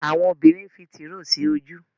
Àwọn obìrin nfí Tìróò sí ojú.